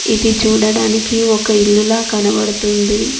ఇది చూడడానికి ఒక ఇల్లు లా కనబడుతుంది.